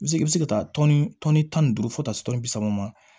I bɛ se i bɛ se ka taa tɔni tɔni tan ni duuru fo ta tɔni bi saba ma